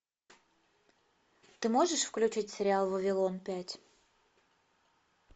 ты можешь включить сериал вавилон пять